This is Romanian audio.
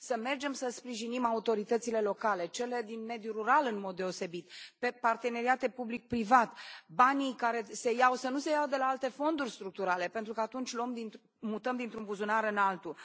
Să mergem să sprijinim autoritățile locale, cele din mediul rural în mod deosebit, pe parteneriate public privat, banii care se iau să nu se ia de la alte fonduri structurale, pentru că atunci mutăm dintr un buzunar în altul.